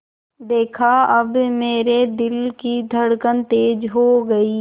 देखा अब मेरे दिल की धड़कन तेज़ हो गई